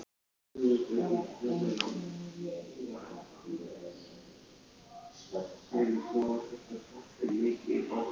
I